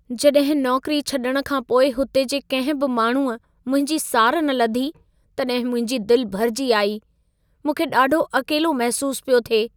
जॾहिं नौकिरी छॾण खां पोइ हुते जे कंहिं बि माण्हूअ मुंहिंजी सार न लधी, तॾहिं मुंहिंजी दिल भरिजी आई। मूंखे ॾाढो अकेलो महिसूस पियो थिए।